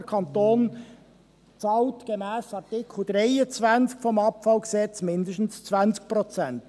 Der Kanton bezahlt gemäss Artikel 23 AbfG mindestens 20 Prozent.